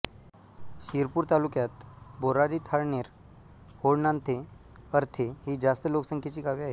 शिरपूर तालुक्यात बोराडी थाळनेर होळनांथे अर्थे ही जास्त लोकसंख्येची गावे आहेत